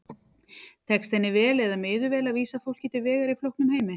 Tekst henni vel eða miður vel að vísa fólki til vegar í flóknum heimi?